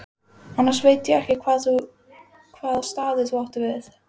Annars veit ég ekki hvaða staði þú átt við.